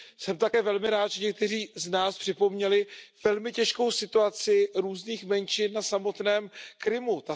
Jsem také velmi rád, že někteří z nás připomněli velmi těžkou situaci různých menšin na samotném Krymu.